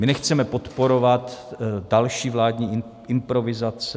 My nechceme podporovat další vládní improvizace.